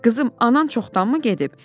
Qızım, anan çoxdanmı gedib?